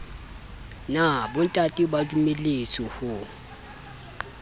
na bontate ba dumelletswe ho